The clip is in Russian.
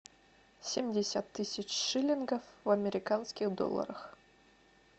семьдесят тысяч шиллингов в американских долларах